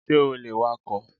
Ṣé o lè wakọ̀?